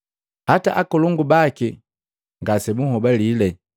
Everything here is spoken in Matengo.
Hata akalongu baki ngasebunhobalile.